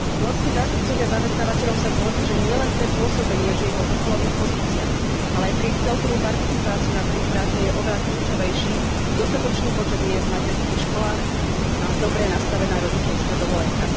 Nórski zástupcovia zamestnávateľov sa zhodli, že nielen pre pôsobenie žien vo vrcholových pozíciách, ale aj pre ich celkovú participáciu na trhu práce je oveľa kľúčovejší dostatočný počet miest v materských školách a dobre nastavená rodičovská dovolenka.